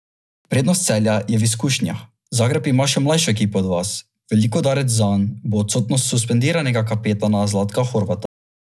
Prednost Celja je v izkušnjah, Zagreb ima še mlajšo ekipo od vas, velik udarec zanj bo odsotnost suspendiranega kapetana Zlatka Horvata.